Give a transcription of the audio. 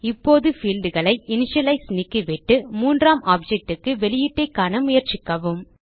இப்போது fieldகளை இனிஷியலைஸ் நீக்கிவிட்டு மூன்றாம் objectக்கு வெளியீட்டைக் காண முயற்சிக்கவும்